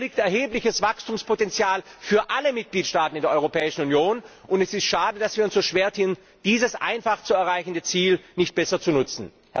Hier liegt erhebliches Wachstumspotenzial für alle Mitgliedstaaten in der Europäischen Union, und es ist schade, dass wir uns so schwertun, dieses einfach zu erreichende Ziel besser zu nutzen.